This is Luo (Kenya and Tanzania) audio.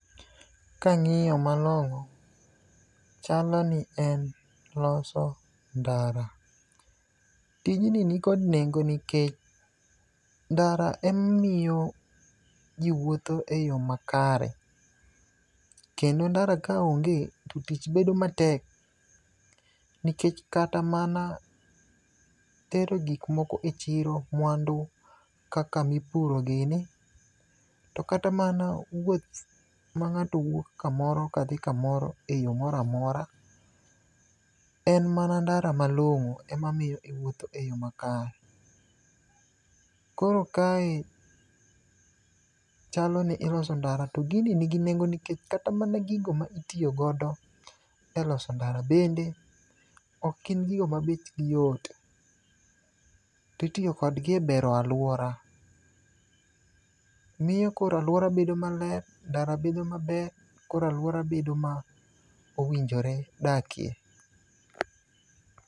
Kangiyo malong'o chalo ni en loso ndara. Tijni nikod nengo nikech ndara emamiyo jii wuotho e yoo makare kendo ndara ka onge to tich bedo matek nikech kata mana tero gik moko e chiro mwandu kaka mipuro gini, tokata mana wuoth mang'ato wuok kamoro kadhi kamora e yoo moramora en mana ndara malong'o ema miyo jii wupotho e yoo makare. Koro kae chalo ni iloso ndara to gini nigi nengo nikech kata mana gigo ma itiyo godo e loso ndara bende ok gin gigo ma bech gi yot. Titiyo kodgi e bero aluora, miyo koro aluora bedo maler ndara bedo maber koro aluora bedo mowinjore dakie.